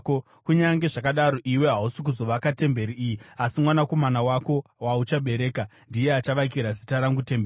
Kunyange zvakadaro, iwe hausi kuzovaka temberi iyi, asi mwanakomana wako, wauchabereka ndiye achavakira Zita rangu temberi.’